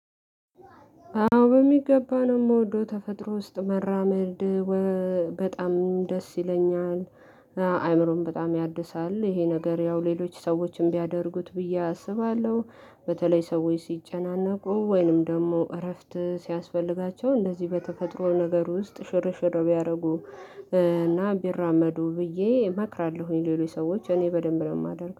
አዎ በሚገባ ነው የምወደው ተፈጥሮ ውስጥ መራመድ በጣም ደስ ይለኛል። አእምሮን በጣም ያድሳል ይሄ ነገር ያው ሌሎች ሰዎችን ቢያደርጉት ብዬ አስባለሁ። በተለይ ሰዎች ሲጨናነቁ ወይንም ደግሞ እረፍት ሲያስፈልጋቸው እንደዚህ በተፈጥሮ ነገር ውስጥ ሽርሽር ቢያደርጉ። እና ቢራመዱ ብዬ እመክራለሁኝ ሌሎች ሰዎች እኔ በደንብ ነው የማደርገው